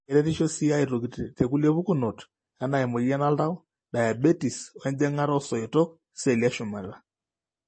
Keretisho sii aitoki tekulie pukunot, anaa emuoyian oltau, diabetes, onjing'ata oosoitok iceelli eshumata.